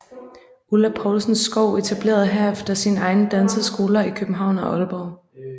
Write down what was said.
Ulla Poulsen Skou etablerede herefter sine egne danseskoler i København og Aalborg